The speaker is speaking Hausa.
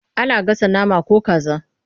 Ana gasa nama ko kaza.